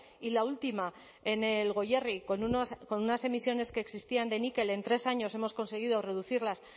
y la última en el goierri con unas emisiones que existían de níquel en tres años hemos conseguido reducirlas